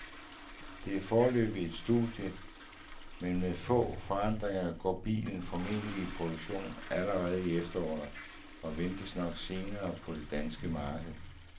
Det er foreløbig et studie, men med få forandringer går bilen formentlig i produktion allerede til efteråret og ventes nok senere på det danske marked.